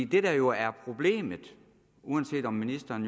der jo er problemet uanset om ministeren